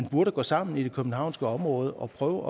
burde gå sammen i det københavnske område og prøve